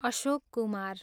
Ashok Kumar